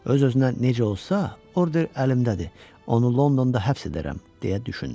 Öz-özünə necə olsa, order əlimdədir, onu Londonda həbs edərəm, deyə düşündü.